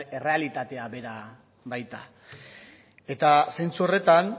errealitate bera baita eta sentsu horretan